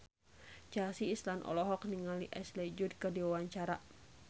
Chelsea Islan olohok ningali Ashley Judd keur diwawancara